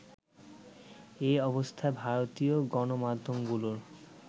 এই অবস্থায় ভারতীয় গণমাধ্যমগুলোর